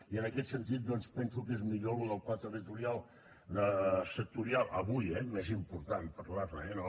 i en aquest sentit doncs penso que és millor això del pla territorial sectorial avui eh més important parlar ne eh no